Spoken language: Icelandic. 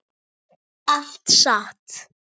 Allt satt.